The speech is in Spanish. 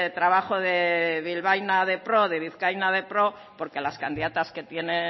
trabajo de bilbaína de pro de vizcaína de pro porque las candidatas que tiene